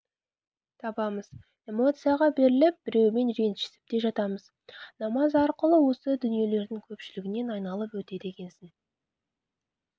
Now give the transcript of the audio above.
табамыз эмоцияға беріліп біреумен ренжісіп те жатамыз намаз арқылы осы дүниелердің көпшілігінен айналып өтеді екенсің